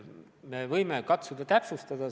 Me võime katsuda seda täpsustada.